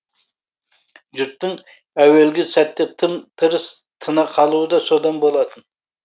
жұрттың әуелгі сәтте тым тырыс тына қалуы да содан болатын